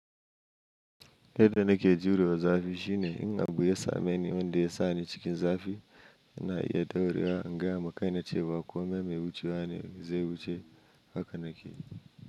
Yadda nake jure wa zafi shine in abu ya same ni wanda ya sa ni cikin zafi, yana iya daurewa, in gaya ma kaina cewa kome mai wucewa ne zai wuce haka nake.